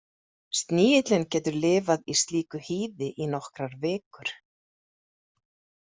Snigillinn getur lifað í slíku hýði í nokkrar vikur.